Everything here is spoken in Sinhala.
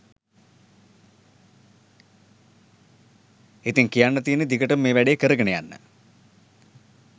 ඉතින් කියන්න තියෙන්නේ දිගටම මේ වැඩේ කරගෙන යන්න